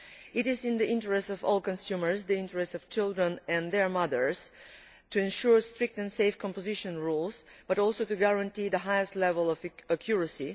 It is in the interests of all consumers, in the interests of children and their mothers, to ensure strict and safe composition rules, but also to guarantee the highest level of accuracy.